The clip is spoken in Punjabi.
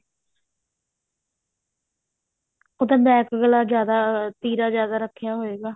ਉਹਦਾ back ਗਲਾ ਜਿਆਦਾ ਤੀਰਾ ਜਿਆਦਾ ਰੱਖਿਆ ਹੋਏਗਾ